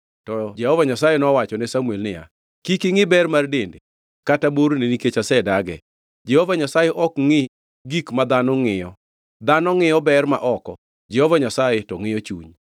To Jehova Nyasaye nowachone Samuel niya, “Kik ingʼi ber mar dende kata borne nikech asedage. Jehova Nyasaye ok ngʼi gik ma dhano ngʼiyo. Dhano ngʼiyo ber ma oko, Jehova Nyasaye to ngʼiyo chuny.”